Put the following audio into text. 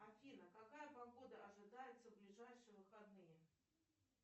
афина какая погода ожидается в ближайшие выходные